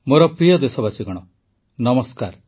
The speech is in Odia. ମୋର ପ୍ରିୟ ଦେଶବାସୀଗଣ ନମସ୍କାର